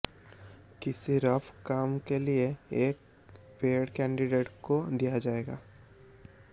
किसी रफ काम के लिए एक पैड कैंडिडेट्स को दिया जाएगा